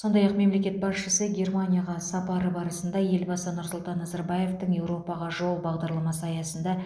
сондай ақ мемлекет басшысы германияға сапары барысында елбасы нұрсұлтан назарбаевтың еуропаға жол бағдарламасы аясында